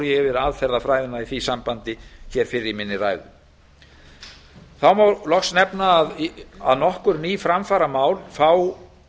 yfir aðferðafræðina í því sambandi fyrr í ræðu minni þá má loks nefna að nokkur ný framfaramál fá